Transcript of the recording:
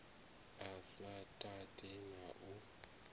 a sa tati na u